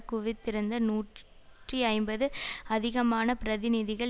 குவித்திருந்த நூற்றி ஐம்பது அதிகமான பிரதிநிதிகள்